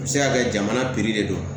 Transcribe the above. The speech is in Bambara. A bɛ se ka kɛ jamana piri de don